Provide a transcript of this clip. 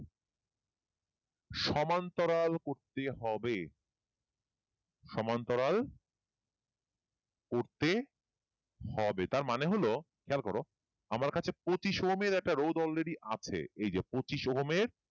সমান্তরাল করতে হবে সমান্তরাল করতে হবে তাঁর মানে হলো খেয়াল করো আমার কাছে পচিশ ওহমের রোধ already আছে এই পচিশ ওহমের